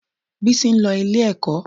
Bísí ń lọ ilé-ẹ̀kọ́